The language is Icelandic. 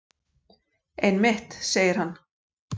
Einmitt, segir hann.